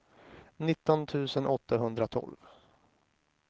nitton tusen åttahundratolv